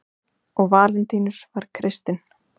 og valentínus var kristinn